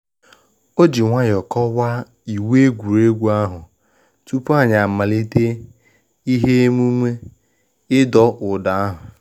Oji nwayọ kọwaa iwu egwuregwu ahụ tupu anyị amalite ihe emumu idọ ụdọ ahụ